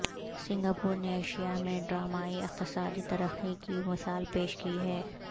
Singapore نے Asia میں ڈرامائی اقتصادی ترقی کی مثال پیش کی ہے